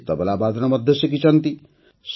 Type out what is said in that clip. ସେ ତବଲା ବାଦନ ମଧ୍ୟ ଶିଖିଛନ୍ତି